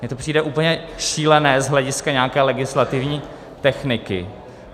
Mně to přijde úplně šílené z hlediska nějaké legislativní techniky.